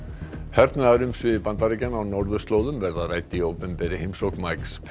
hernaðarumsvif Bandaríkjanna á norðurslóðum verða rædd í opinberri heimsókn